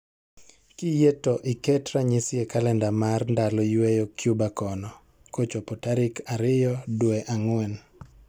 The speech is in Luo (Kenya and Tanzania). Kiyie to iket ranyisi e kalenda mar ndalo yweyo Cuba kono kochopo tarikariyo dwe ang'wen.